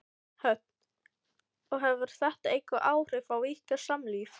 Hödd: Og hefur þetta eitthvað áhrif á ykkar samlíf?